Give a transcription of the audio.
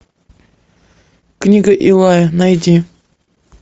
книга илая найди